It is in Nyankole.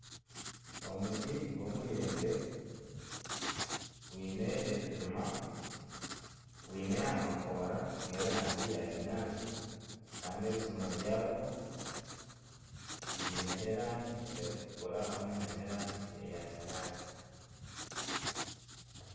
Omuti gw'omuyembe gwine ebijuma, gwine amakoora gerangi ya kinyaatsi kandi ebijuma byagwo biine erangi erikutukura hamwe n'erangi eya kinyaantsi.